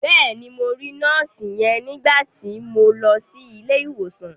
Bẹ́ẹ̀ni, mo rí nọ́ọ̀sì yẹn nígbà ti mo lọ sí ilé ìwòsàn.